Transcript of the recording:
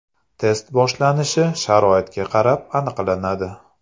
Test boshlanishi sharoitga qarab aniqlanadi.